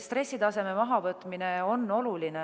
Stressitaseme mahavõtmine on oluline.